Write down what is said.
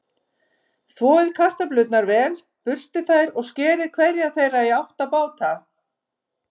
Þvoið kartöflurnar vel, burstið þær og skerið hverja þeirra í átta báta.